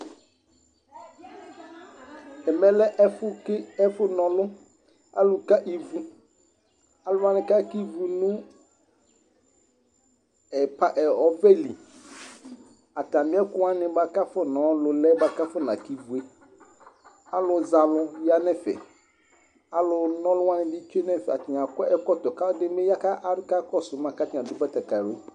Ɛmɛlɛ ɛfʋ naɔlʋ, alʋwani kaka ivʋ nʋ ɔbɛli Atami ɛkʋwani kʋ afɔnɔ lʋlɛ bʋakʋ akɔnaka ivʊe, alʋzɛalʋ yanʋ ɛfɛ, alʋ nɔlʋwani bi tsue nʋ ɛfɛ atani akɔ ɛkɔtɔ kʋ alʋɛdini yakakɔsʋ ma kʋ atani adʋ batakali